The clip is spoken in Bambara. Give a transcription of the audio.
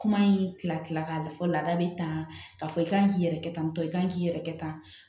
Kuma in tila tila k'a la fɔ laada bɛ tan k'a fɔ i kan k'i yɛrɛ kɛ tantɔ i k'an k'i yɛrɛkɛ tan